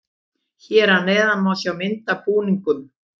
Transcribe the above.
Hér að neðan má sjá myndina af búningunum.